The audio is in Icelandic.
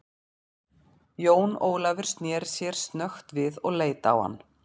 Jón Ólafur sneri sér snöggt við og leit á hann.